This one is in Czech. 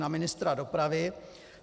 Na ministra dopravy.